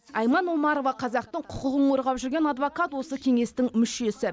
айман омарова қазақтың құқығын қорғап жүрген адвокат осы кеңестің мүшесі